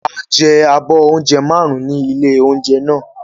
A jẹ abọ́ oúnjẹ márùn-ún ní ilé-oúnjẹ náà.